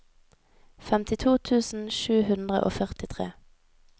femtito tusen sju hundre og førtitre